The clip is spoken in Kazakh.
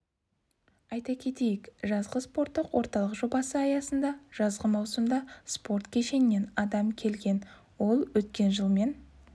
айта кетейік жазғы спорттық орталық жобасы аясында жазғы маусымда спорт кешенінен адам келген ол өткен жылмен